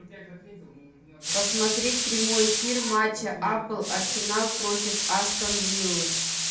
посмотреть прямой эфир матча апл арсенал против астон виллы